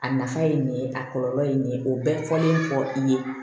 A nafa ye nin ye a kɔlɔlɔ ye nin ye o bɛɛ fɔlen fɔ i ye